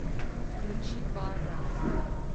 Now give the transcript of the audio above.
включи барра